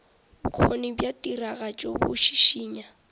bokgoni bja tiragatšo bo šišinya